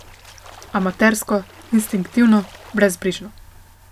Amatersko, instinktivno, brezbrižno.